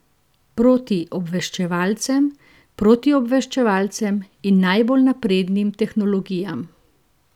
Proti obveščevalcem, protiobveščevalcem in najbolj naprednim tehnologijam?